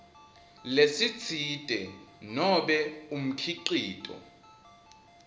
lesitsite nobe umkhicito